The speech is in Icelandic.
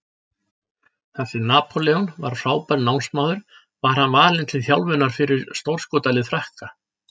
Þar sem Napóleon var frábær námsmaður var hann valinn til þjálfunar fyrir stórskotalið Frakka.